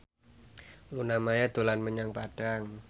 Luna Maya dolan menyang Padang